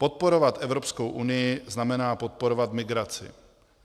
Podporovat Evropskou unii znamená podporovat migraci.